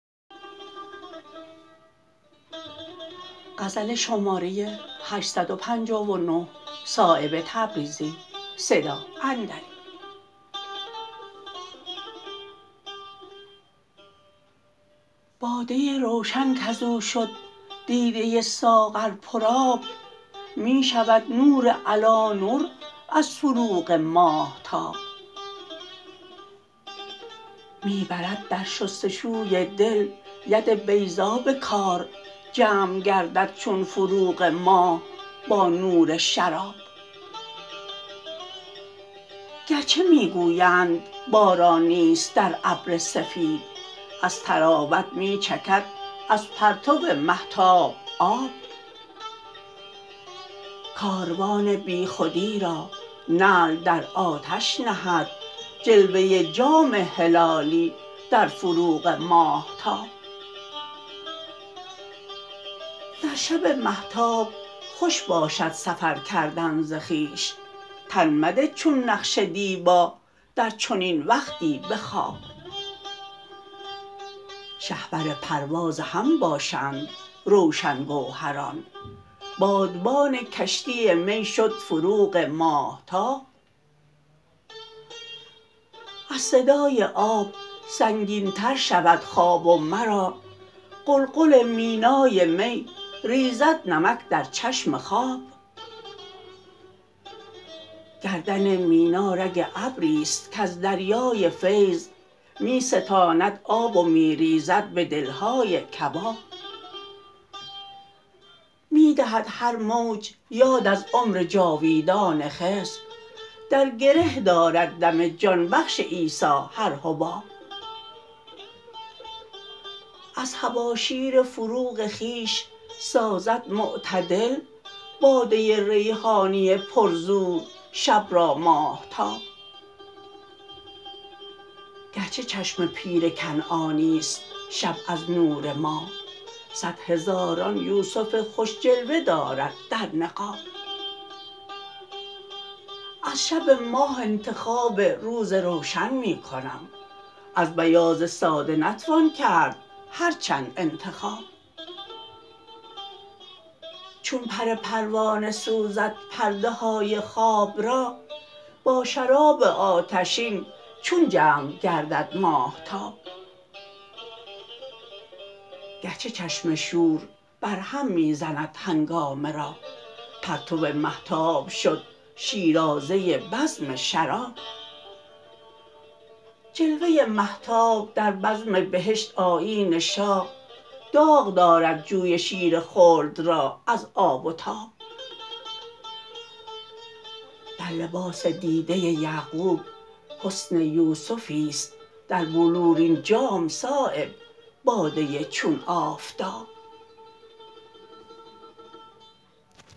باده روشن کز او شد دیده ساغر پر آب می شود نور علی نور از فروغ ماهتاب می برد در شستشوی دل ید بیضا به کار جمع گردد چون فروغ ماه با نور شراب گرچه می گویند باران نیست در ابر سفید از طراوت می چکد از پرتو مهتاب آب کاروان بیخودی را نعل در آتش نهد جلوه جام هلالی در فروغ ماهتاب در شب مهتاب خوش باشد سفر کردن ز خویش تن مده چون نقش دیبا در چنین وقتی به خواب شهپر پرواز هم باشند روشن گوهران بادبان کشتی می شد فروغ ماهتاب از صدای آب سنگین تر شود خواب و مرا قلقل مینای می ریزد نمک در چشم خواب گردن مینا رگ ابری است کز دریای فیض می ستاند آب و می ریزد به دلهای کباب می دهد هر موج یاد از عمر جاویدان خضر در گره دارد دم جان بخش عیسی هر حباب از طباشیر فروغ خویش سازد معتدل باده ریحانی پر زور شب را ماهتاب گرچه چشم پیر کنعانی است شب از نور ماه صد هزاران یوسف خوش جلوه دارد در نقاب از شب ماه انتخاب روز روشن می کنم از بیاض ساده نتوان کرد هر چند انتخاب چون پر پروانه سوزد پرده های خواب را با شراب آتشین چون جمع گردد ماهتاب گرچه چشم شور بر هم می زند هنگامه را پرتو مهتاب شد شیرازه بزم شراب جلوه مهتاب در بزم بهشت آیین شاه داغ دارد جوی شیر خلد را از آب و تاب در لباس دیده یعقوب حسن یوسفی است در بلورین جام صایب باده چون آفتاب